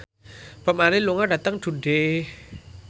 Bob Marley lunga dhateng Dundee